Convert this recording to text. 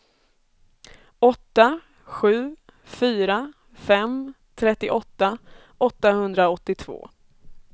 åtta sju fyra fem trettioåtta åttahundraåttiotvå